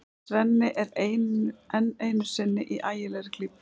Svenni er enn einu sinni í ægilegri klípu.